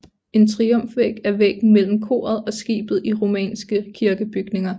En triumfvæg er væggen mellem koret og skibet i romanske kirkebygninger